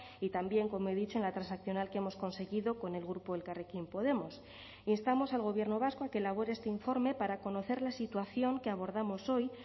y también como he dicho en la transaccional que hemos conseguido con el grupo elkarrekin podemos instamos al gobierno vasco a que elabore este informe para conocer la situación que abordamos hoy